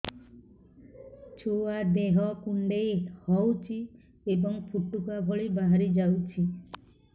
ଛୁଆ ଦେହ କୁଣ୍ଡେଇ ହଉଛି ଏବଂ ଫୁଟୁକା ଭଳି ବାହାରିଯାଉଛି